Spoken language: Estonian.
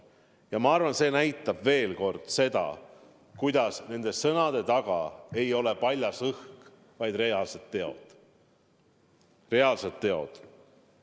Ja ma arvan, et see näitab veel kord seda, et minu sõnade taga ei ole paljas õhk, vaid see tähendab reaalseid tegusid.